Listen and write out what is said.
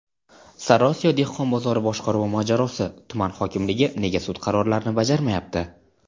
Sariosiyo dehqon bozori boshqaruvi mojarosi: tuman hokimligi nega sud qarorlarini bajarmayapti?.